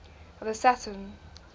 the saturn